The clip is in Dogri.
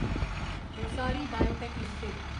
Rossari biotech limited